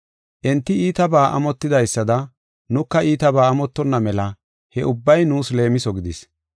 Enti iitaba amotidaysada, nuka iitaba amottonna mela he ubbay nuus leemiso gidis.